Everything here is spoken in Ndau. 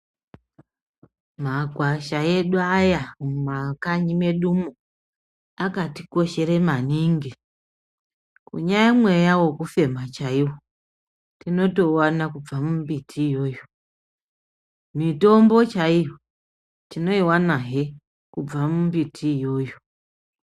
Makwasha edu aya mumakanyi medumo akatikoshere maningi. Kunyamweya vekufema chaivo tinotouvana kubva mumbiti iyoyo mitombo chaiyo tinoivanahe kubva mumbiti iyoyo.